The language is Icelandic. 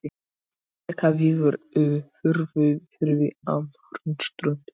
Rekaviður í Furufirði á Hornströndum.